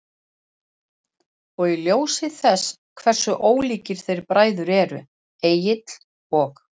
Og í ljósi þess hversu ólíkir þeir bræður eru, Egill og